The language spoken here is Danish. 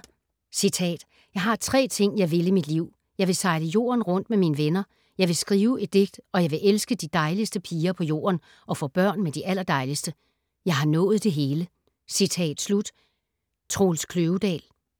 ”Jeg har tre ting, jeg vil i mit liv. Jeg vil sejle jorden rundt med mine venner, jeg vil skrive et digt, og jeg vil elske de dejligste piger på jorden - og få børn med de allerdejligste. Jeg har nået det hele. ”